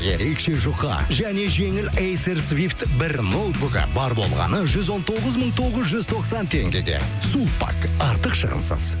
ерекше жұқа және жеңіл эйсер свифт бір ноутбугі бар болғаны жүз он тоғыз мың тоғыз жүз тоқсан теңгеге сулпак артық шығынсыз